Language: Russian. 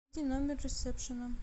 номер ресепшена